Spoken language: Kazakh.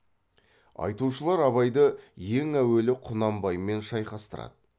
айтушылар абайды ең әуелі құнанбаймен шайқастырады